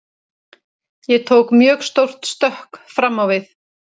Ég tók mjög stórt stökk fram á við.